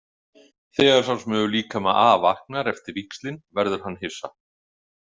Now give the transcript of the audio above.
Þegar sá sem hefur líkama A vaknar eftir víxlin verður hann hissa.